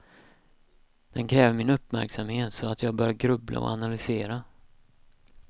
Den kräver min uppmärksamhet så att jag börjar grubbla och analysera.